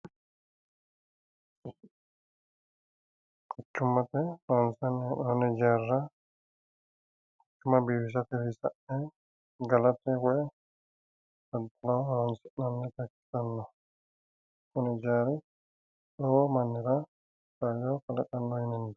Quchummate loonsanni hee'noonni ijaarra, quchumma biifisatenni sa'ne galate woyi daddaloho horonsi'nannita ikkitinota leellishshanno.